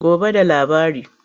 Gobe da labari.